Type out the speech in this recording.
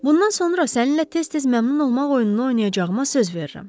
Bundan sonra səninlə tez-tez məmnun olmaq oyununu oynayacağıma söz verirəm.